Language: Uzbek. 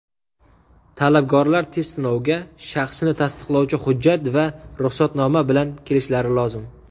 Talabgorlar test sinoviga shaxsini tasdiqlovchi hujjat va ruxsatnoma bilan kelishlari lozim.